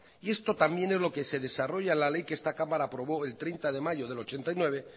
y esto también es lo que se desarrolla en la ley que esta cámara aprobó el treinta de mayo de mil novecientos ochenta y nueve